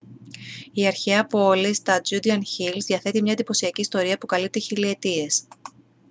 η αρχαία πόλη στα judean hills διαθέτει μια εντυπωσιακή ιστορία που καλύπτει χιλιετίες